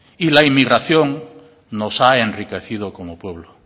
y la inmigración nos ha enriquecido como pueblo